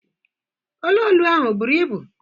Olu olu ahụ ọ buru ibu?